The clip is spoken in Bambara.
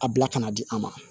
A bila ka na di a ma